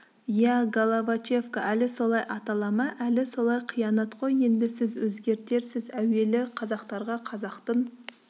иә головачевка әлі солай атала ма әлі солай қиянат қой енді сіз өзгертерсіз әуелі қазақтарға қазақтың